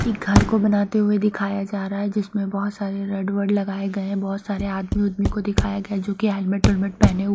एक घर को बनाते हुए दिखाया जा रहा है जिसमें बहुत सारे रेड वर्ड लगाए गए बहुत सारे आदमी आदमी को दिखाया गया जो कि हेल्मेट टेलमेट पहने--